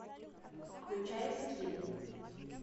включай скин